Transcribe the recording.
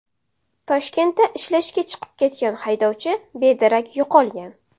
Toshkentda ishlashga chiqib ketgan haydovchi bedarak yo‘qolgan.